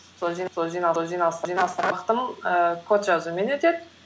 ііі код жазумен өтеді